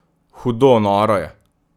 Hudo noro je!